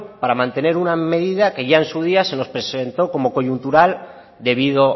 para mantener una medida que ya en su día se nos presentó como coyuntural debido